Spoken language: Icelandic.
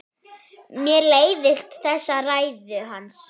Mér leiðast þessar ræður hans.